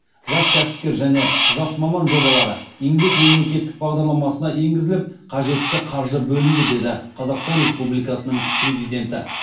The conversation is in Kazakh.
жас кәсіпкер және жас маман жобалары еңбек мемлекеттік бағдарламасына енгізіліп қажетті қаржы бөлінді деді қазақстан республикасының президенті